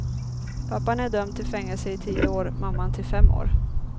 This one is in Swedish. Pappan är dömd till fängelse i tio år, mamman till fem år.